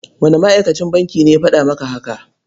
Wane ma'akacin bankin ne ya faɗa maka haka?